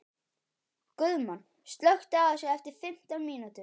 Guðmann, slökktu á þessu eftir fimmtán mínútur.